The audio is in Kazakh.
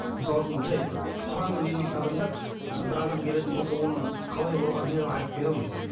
мысалы үшін жай құранмен емдейтін адамдар ы бір адам келетін болса оның қалай болғанын неғылғанын айтып бере алмайды